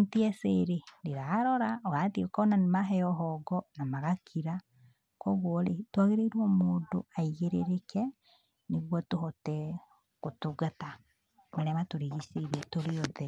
NTSA rĩ ndirarora, ũrathiĩ ũkona nĩ maheo hongo na magakira, koguo rĩ twagĩrĩirwo mũndũ aigĩrĩrĩke, nĩguo tuhote gũtungata marĩa matũrigicĩirie tũrĩ othe.